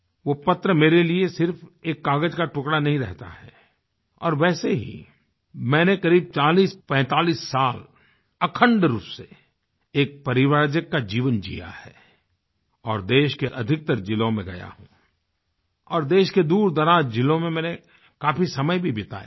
वो पत्र मेरे लिए सिर्फ एक कागज़ का टुकड़ा नहीं रहता है और वैसे ही मैंने करीब 4045 साल अखंड रूप से एक परिव्राजक का जीवन जीया है और देश के अधिकतर जिलों में गया हूँ और देश के दूरदराज जिलों में मैंने काफी समय भी बिताया है